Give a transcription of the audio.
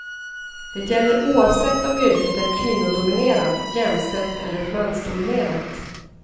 Det gäller oavsett om yrket är kvinnodominerat, jämställt eller mansdominerat.